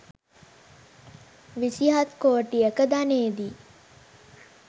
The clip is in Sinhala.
විසිහත් කෝටියක ධනයදී